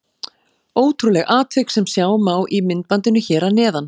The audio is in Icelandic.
Ótrúlegt atvik sem sjá má í myndbandinu hér að neðan.